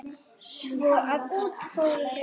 Svo að út fóru þau.